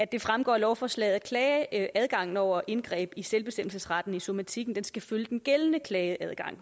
det fremgår af lovforslaget at klageadgangen over indgreb i selvbestemmelsesretten i somatikken skal følge den gældende klageadgang